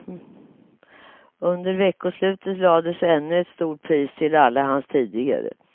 Under veckoslutet lades ännu ett stort pris till alla hans tidigare.